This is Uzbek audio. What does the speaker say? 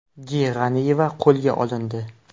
G. G‘aniyeva qo‘lga olindi.